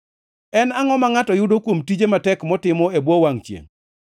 En angʼo ma ngʼato yudo kuom tije matek motimo e bwo wangʼ chiengʼ?